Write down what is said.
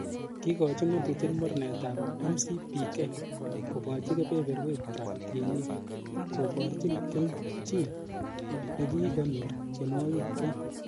Kikochi ng'otutiet mornetab MCPK, ko kochi kebeberwekchwak tienik, koborchin kelchin nekikonyor tiewogikchwak.